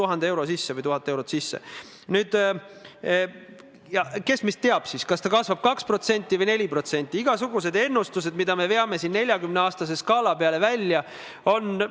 See, et palutakse mingeid erandeid ja nende erandite pikendamist, ei tähenda kindlasti seda, et nende teemadega ei tuleks edasi tegeleda ja et need peaksid viieks aastaks kuidagi ootele jääma.